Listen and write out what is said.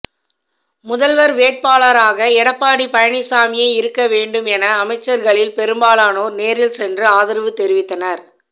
முதல்வர் வேட்பாளராக எடப்பாடி பழனிசாமியே இருக்க வேண்டும் என அமைச்சர்களில் பெரும்பாலானோர் நேரில் சென்று ஆதரவு தெரிவித்தனர்